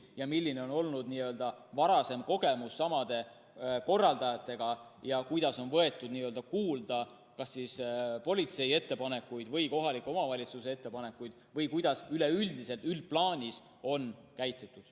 milline on olnud varasem kogemus samade korraldajatega ja kuidas on võetud kuulda kas politsei ettepanekuid või kohaliku omavalitsuse ettepanekuid või kuidas üldplaanis on käitutud.